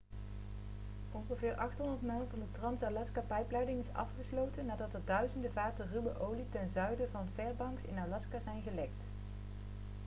ongeveer 800 mijl van de trans-alaska-pijpleiding is afgesloten nadat er duizenden vaten ruwe olie ten zuiden van fairbanks in alaska zijn gelekt